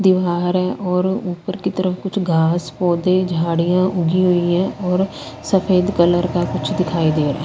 दीवार हैं और ऊपर की तरफ कुछ घास पौधे झाड़ियां ऊखी हुईं हैं और सफेद कलर का कुछ दिखाई दे रहा है।